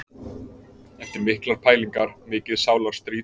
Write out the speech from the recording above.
Eftir miklar pælingar, mikið sálarstríð.